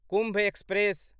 Kumbh express